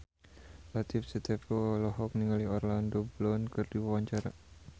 Latief Sitepu olohok ningali Orlando Bloom keur diwawancara